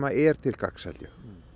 er til gagns held ég